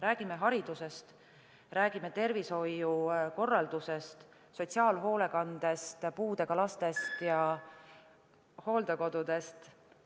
Räägime haridusest, räägime tervishoiukorraldusest, sotsiaalhoolekandest, puudega lastest ja hooldekodudest.